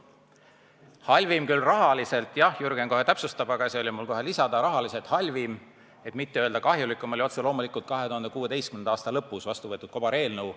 Rahaliselt halvim – jah, Jürgen kohe täpsustab –, et mitte öelda kahjulikem, oli otse loomulikult 2016. aasta lõpus vastu võetud kobareelnõu.